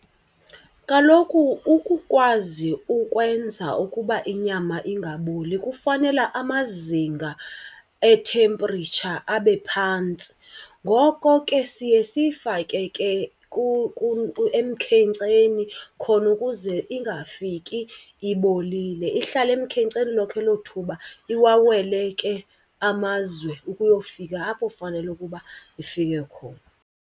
Kaloku ukukwazi ukwenza ukuba inyama ingaboli kufanela amazinga ethempiritsha abe phantsi. Ngoko ke siye siyifake ke emkhenkceni khona ukuze ingafiki ibolile, ihlale emkhenkceni lonke elo thuba, iwawele ke amazwe ukuyofika apho fanele ukuba ifike khona.